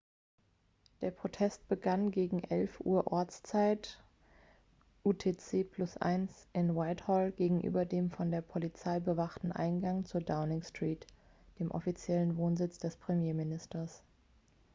der protest begann gegen 11:00 uhr ortszeit utc +1 in whitehall gegenüber dem von der polizei bewachten eingang zur downing street dem offiziellen wohnsitz des premierministers